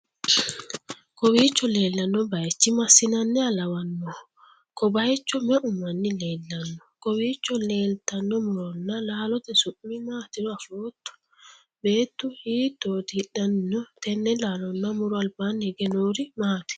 kowiicho leellanno bayichi massinanniha lawannoho?ko bayicho me'u manni leellannoho? kowiicho leeltanno muronna laallote su'mi maatiro afootto? beettu hiittoti hidhanni no?tenne laalonna muro albaanni hige noori maati?